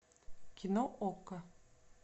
кино окко